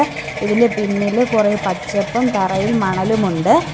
ഇതിൻ്റെ പിന്നില് കുറെ പച്ചപ്പും തറയിൽ മണലുമുണ്ട്.